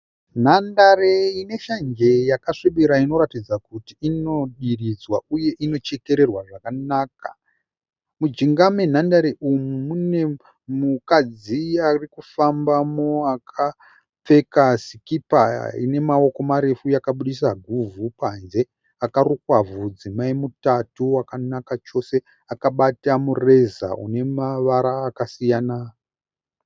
Nhandare ineshanjeyakasvibira inoratidza kuti inodiridzwa uye inochekererwa zvakanaka. Mujinga menhandare umu mune mudzimai akapfeka sikipa inosiya guvhu panze akarukwa mutatu wakanaka kwazvo.